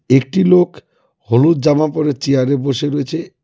একটি লোক হলুদ জামা পরে চেয়ারে বসে রয়েছে.